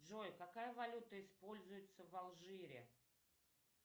джой какая валюта используется в алжире